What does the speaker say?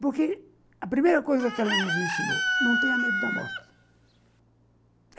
Porque a primeira coisa que ela nos ensinou, não tenha medo da morte.